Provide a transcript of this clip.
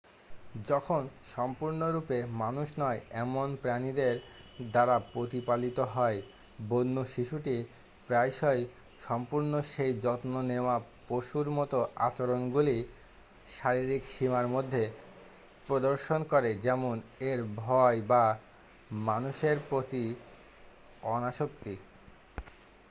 যখন সম্পূর্ণরূপে মানুষ নয় এমন প্রাণীদের দ্বারা প্রতিপালিত হয় বন্য শিশুটি প্রায়শই সম্পূর্ণ সেই যত্ন নেওয়া পশুর মতো আচরণগুলি শারীরিক সীমার মধ্যে প্রদর্শন করে যেমন এর ভয় বা মানুষের প্রতি অনাসক্তি।